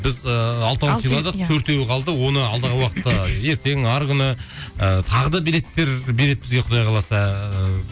біз ыыы алтауын сыйладық төртеуі қалды оны алдағы уақытта ертең арғы күні ыыы тағы да билеттер береді бізге құдай қаласа ыыы